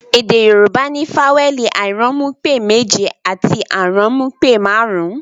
Èdè Yorùbá ní fawẹẹli airanmupe méje àti aranmupe marun-un